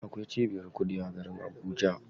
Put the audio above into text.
Akwai cibiyar kuɗi a garin Abuja.